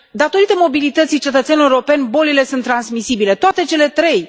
Datorită mobilității cetățenilor europeni, bolile sunt transmisibile, toate cele trei.